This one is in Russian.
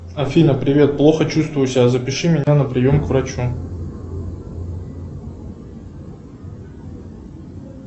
афина привет плохо чувствую себя запиши меня на прием к врачу